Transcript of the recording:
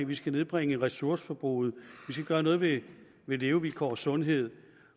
vi skal nedbringe ressourceforbruget vi skal gøre noget ved ved levevilkår og sundhed